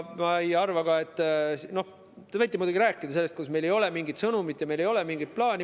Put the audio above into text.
Te võite muidugi rääkida sellest, kuidas meil ei ole mingit sõnumit ega mingit plaani.